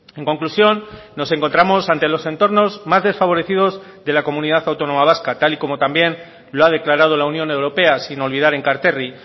en conclusión nos encontramos ante los entornos más desfavorecidos de la comunidad autónoma vasca tal y como también lo ha declarado la unión europea sin olvidar enkarterri